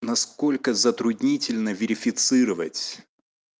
насколько затруднительно верифицировать